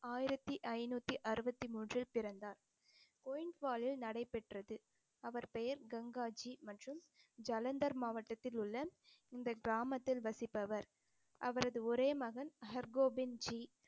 ஆயிரத்தி ஐநூத்தி அறுபத்தி மூன்றில் பிறந்தார் நடைபெற்றது அவர் பெயர் கங்காஜி மற்றும் ஜலந்தர் மாவட்டத்தில் உள்ள இந்த கிராமத்தில் வசிப்பவர் அவரது ஒரே மகன் ஹர்கோபிந்த்ஜி